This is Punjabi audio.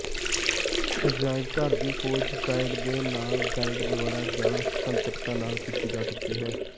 ਅਜਾਇਬਘਰ ਦੀ ਖੋਜ ਗਾਈਡ ਦੇ ਨਾਲ ਗਾਈਡ ਦੁਆਰਾ ਜਾਂ ਸੁਤੰਤਰਤਾ ਨਾਲ ਕੀਤੀ ਜਾ ਸਕਦੀ ਹੈ